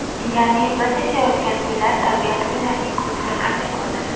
Ya’ni biz yashayotgan uylar, tabiat ularning ko‘ziga qanday ko‘rinadi?